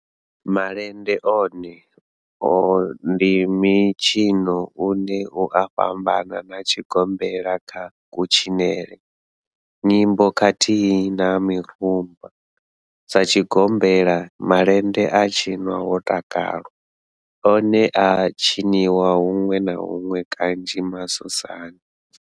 Malende one ndi mitshino une u a fhambana na tshigombela kha kutshinele, nyimbo khathihi na mirumba, Sa tshigombela, malende a tshinwa ho takalwa, one a a tshiniwa hunwe na hunwe kanzhi masosani.